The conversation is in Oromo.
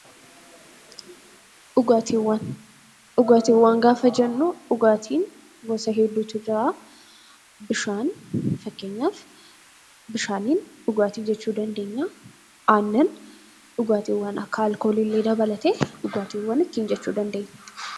Dhugaatiiwwan gaafa jennu dhugaatii gosa hedduutu jira. Fakkeenyaaf bishaan , aannan, dhugaatiiwwan akka alkoolii illee dabalatee dhugaatiiwwan ittiin jechuu dandeenya